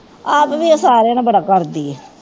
ਆਪ ਵੀ ਉਹ ਸਾਰਿਆਂ ਨੂੰ ਬੜਾ ਕਰਦੀ ਹੈ